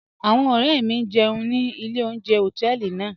Awọn ọ̀rẹ̀ mi n jẹun ni ilẹ̀ ọ̀unjẹ̀ họtẹẹlì naa.